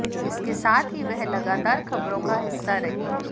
इसके साथ ही वह लगातार खबरों का हिस्सा रहीं